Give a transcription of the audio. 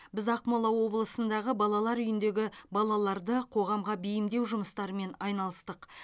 біз ақмола облысындағы балалар үйіндегі балаларды қоғамға бейімдеу жұмыстарымен айналыстық